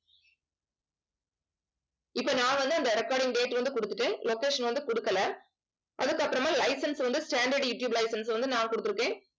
இப்ப நான் வந்து அந்த recording date வந்து கொடுத்துட்டேன் location வந்து கொடுக்கலை அதுக்கப்புறமா license வந்து standard யூடியூப் license வந்து நான் கொடுத்திருக்கேன்